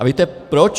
A víte proč?